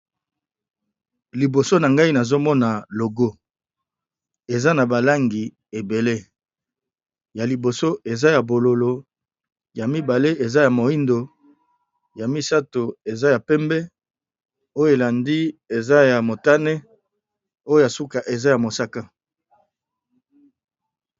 Liboso na ngai nazomona logo eza na balangi ebele ya liboso eza ya bololo ya mibale eza ya moyindo ya misato eza ya pembe oyo elandi eza ya motane oyo suka eza ya mosaka